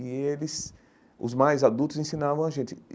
E eles, os mais adultos, ensinavam a gente.